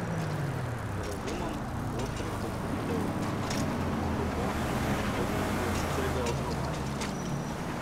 Z razumom, ostrim kot britev, in z izpopolnjeno sposobnostjo hitrega odgovarjanja.